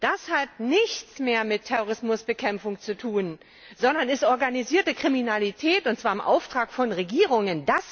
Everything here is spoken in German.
Das hat nichts mehr mit Terrorismusbekämpfung zu tun, sondern ist organisierte Kriminalität, und zwar im Auftrag von Regierungen!